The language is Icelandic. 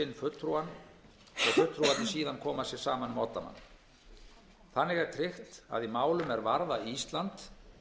fulltrúann og fulltrúarnir síðan koma sér saman um oddamann þannig er tryggt að í málum er varða ísland